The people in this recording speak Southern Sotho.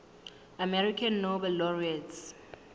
american nobel laureates